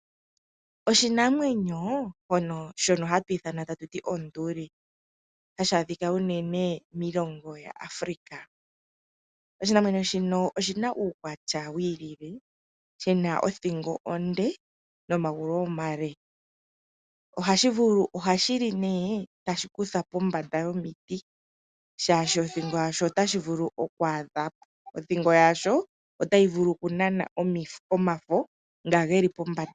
Oshinamwenyo shono hatu ithana tatu ti onduli hashi adhika unene miilongo yaAfrika. Oshinamwenyo shino oshina uukwatya wi ilile shina othingo onde nomagulu omale. Ohashi li nee tashi kutha pombanda yomiti shaashi othingo yasho otayi vulu okunana omafo nga geli pombanda.